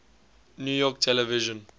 new york television